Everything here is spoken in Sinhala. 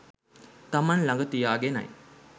තමන් ළඟ තියාගෙනයි.